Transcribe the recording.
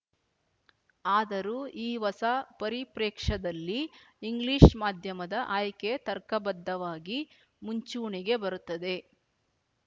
ಆದರೂ ಈ ಹೊಸ ಪರಿಪ್ರೇಕ್ಷದಲ್ಲಿ ಇಂಗ್ಲಿಷ್ ಮಾಧ್ಯಮದ ಆಯ್ಕೆ ತರ್ಕಬದ್ಧವಾಗಿ ಮುಂಚೂಣಿಗೆ ಬರುತ್ತದೆ